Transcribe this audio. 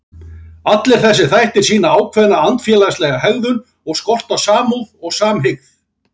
Allir þessir þættir sýna ákveðna andfélagslega hegðun og skort á samúð og samhygð.